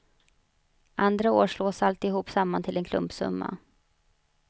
Andra år slås alltihop samman till en klumpsumma.